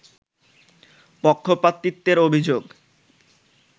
পক্ষপাতিত্বের অভিযোগ